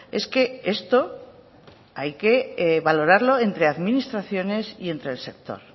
es que esto hay que valorarlo entre administraciones y entre el sector